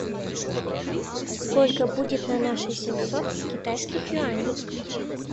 сколько будет на наши семьсот китайских юаней